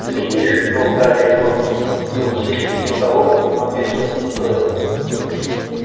гляди шепнул гарри рону за учительским столом одно место пустое